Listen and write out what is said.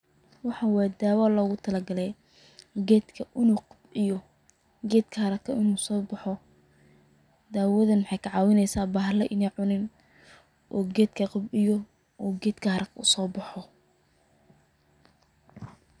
Waxan wa dawo lagutalagalay gedka in uu kabciyo, gedka inu haraka sobaxo. Dawadan wexey kacawineysa bahala iney cunin oo gedka kobciyo oo gedka harako sobaxo.